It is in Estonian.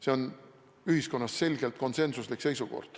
See on ühiskonnas selgelt konsensuslik seisukoht.